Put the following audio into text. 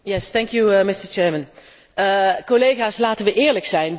Collega's, laten wij eerlijk zijn, dit is een heel mager akkoord.